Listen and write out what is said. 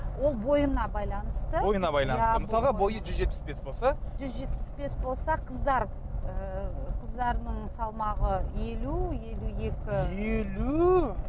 ол бойына байланысты бойына байланысты мысалға бойы жүз жетпіс бес болса жүз жетпіс бес болса қыздар ыыы қыздарының салмағы елу елу екі елу